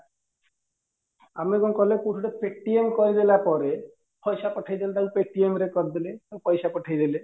ଆମେ କଣ କଲେ କୋଉଠି ଗୋଟେ paytm କହିଦେଲା ପରେ ପଇସା ପଠେଇଦେଲେ ତାକୁ paytm ରେ କରିଦେଲେ ପଇସା ପଠେଇଦେଲେ